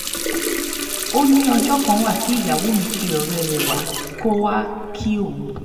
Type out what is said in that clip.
ó ní ọjọ́ kan wà tí ìyàwó mi pe ọ̀rẹ́ rẹ wá pé kó wàá kí òun